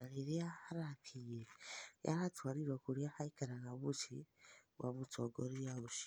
No rĩrĩa arakĩnyĩre nĩaratwarĩrwo kũrĩa aĩkaraga mũcĩĩ gwa mũtongorĩa ũcĩo